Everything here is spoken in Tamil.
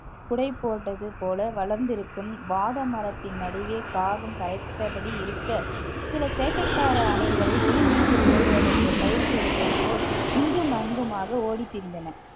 குடை போட்டது போல வளர்ந்திருக்கும் வாதமரத்தின் நடுவே காகம் கரைத்தபடி இருக்க சில சேட்டைக்கார அணில்கள் ஒலிம்பிக்கில் ஓடுவதற்கு பயிற்சி எடுப்பது போல் இங்கும் அங்குமாக ஓடித் திரிந்தன